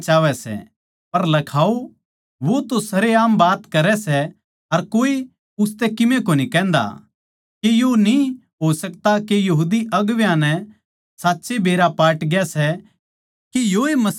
पर लखाओ वो तो सरेआम बात करै सै अर कोए उसतै किमे कोनी कहन्दा के यो न्ही हो सकता के यहूदी अगुवां नै साच्ये बेरा पाटग्या सै के योए मसीह सै